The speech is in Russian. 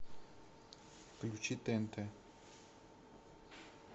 включи тнт